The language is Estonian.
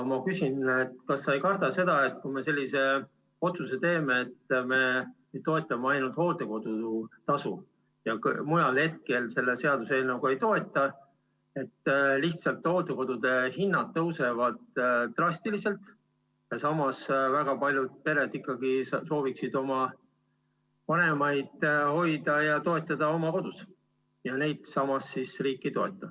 Ma küsin, kas sa ei karda seda, et kui me teeme otsuse toetada ainult hooldekodutasu, mujal hooldamist selle seaduseelnõuga ei toeta, siis lihtsalt hooldekodude hinnad tõusevad drastiliselt, aga samas väga paljud pered ikkagi soovivad oma vanemaid hoida ja toetada oma kodus, kuid neid riik ei toeta.